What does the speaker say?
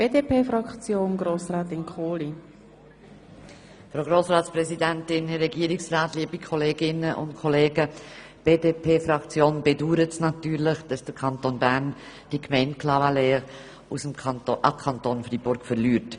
Die BDP-Fraktion bedauert natürlich, dass der Kanton Bern die Gemeinde Clavaleyres an den Kanton Freiburg verliert.